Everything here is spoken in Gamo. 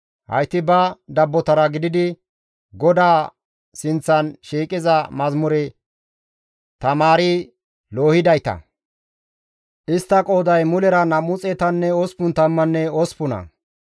Hayti ba dabbotara gididi GODAA sinththan shiiqiza mazamure tamaari loohidayta; istta qooday mulera nam7u xeetanne osppun tammanne osppuna.